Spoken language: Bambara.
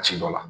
Ci dɔ la